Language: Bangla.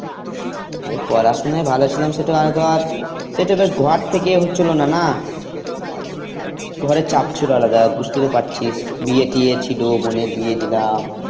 আরে পড়াশোনায় ভালো ছিলাম সে তো আমি ধর সে তো বেশ ঘর থেকে হচ্ছিল না না ঘরে চাপ ছিল আলাদা বুঝতেই তো পারছিস, বিয়ে টিয়ে ছিলো, বোনের বিয়ে দিলাম।